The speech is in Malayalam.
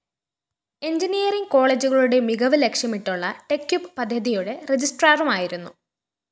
എൻജിനീയറിങ്‌ കോളേജുകളുടെ മികവ് ലക്ഷ്യമിട്ടുള്ള ടെക്യുപ് പദ്ധതിയുടെ രജിസ്ട്രാറുമായിരുന്നു